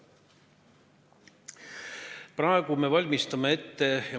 Praegu me valmistame ette riiklikult tähtsat küsimust.